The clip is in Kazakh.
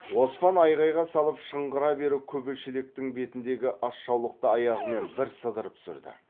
оспан айғайға салып шыңғыра беріп күбі шелектің бетіндегі асжаулықты аяғымен бір сыдырып түсірді